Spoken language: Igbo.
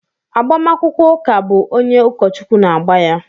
Agbamakwụkwọ ụka bụ onye ụkọchukwu na-agba ya.